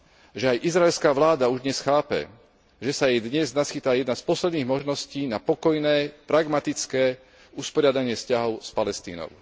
že aj izraelská vláda už dnes chápe, že sa jej dnes naskytá jedna z posledných možností na pokojné, pragmatické usporiadanie vzťahov s Palestínou.